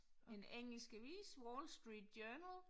En engelsk avis Wall Street journal